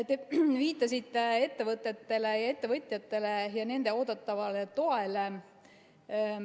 Te viitasite ettevõtetele, ettevõtjatele ja nende oodatavale toele.